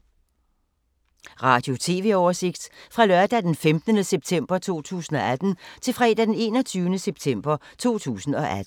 Radio/TV oversigt fra lørdag d. 15. september 2018 til fredag d. 21. september 2018